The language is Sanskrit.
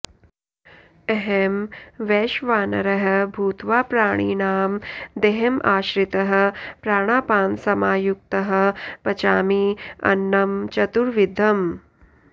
अहं वैश्वानरः भूत्वा प्राणिनां देहम् आश्रितः प्राणापानसमायुक्तः पचामि अन्नं चतुर्विधम्